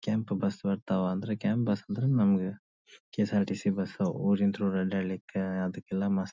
ಕೆಂಪು ಬಸ್ಸ ಬರ್ತಾವಂದ್ರೆ ಕೆಂಪ್ ಬಸ್ಸ ಅಂದ್ರ ಕೆಂಪ್ ಬಸ್ಸ ಅಂದ್ರ ನಮಗ ಕೆ.ಎಸ್.ಆರ್.ಟಿ.ಸಿ ಬಸ್ಸಊರಿಂಗ್ ಥ್ರೂ ಬಸ್ಸ ಹೇಳ್ಲಿಕ್ಕೆ ಅದಕೆಲ್ಲ ಮಸ್ತ್ --